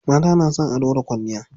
Mata na son ado da kwalliya.